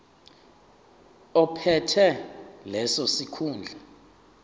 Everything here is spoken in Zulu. ophethe leso sikhundla